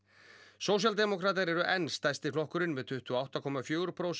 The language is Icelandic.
sósíaldemókratar eru enn stærsti flokkurinn með tuttugu og átta komma fjögur prósent